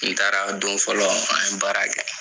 N taara don fɔlɔ an ye baara kɛ.